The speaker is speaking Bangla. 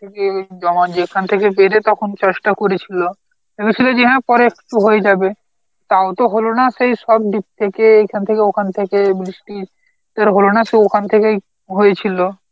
এ জমা যেখান থেকে দেবে তখন চাষটা করেছিল ভেবেছিল যে হ্যাঁ, পরে একটু হয়ে যাবে, তাও তো হলো না সেই সব deep থেকে এখান থেকে ওখান থেকে বৃষ্টি তোর হলো না সে ওখান থেকেই হয়েছিল